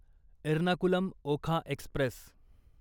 Ernakulam Okha Express